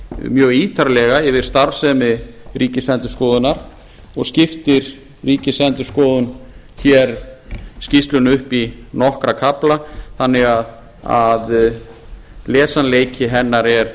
mjög ítarlega yfir starfsemi ríkisendurskoðunar og skiptir ríkisendurskoðun hér skýrslunni upp í nokkra kafla þannig að lesanleiki hennar er